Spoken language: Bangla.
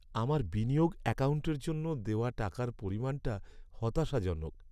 আমার বিনিয়োগ অ্যাকাউন্টের জন্য দেওয়া টাকার পরিমাণটা হতাশাজনক।